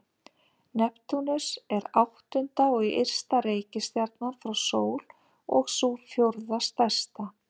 Neptúnus er áttunda og ysta reikistjarnan frá sól og sú fjórða stærsta.